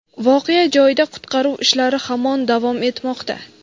voqea joyida qutqaruv ishlari hamon davom etmoqda.